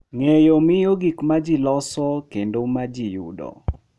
Ng’eyo miyo gik ma ji loso kendo ma ji yudo.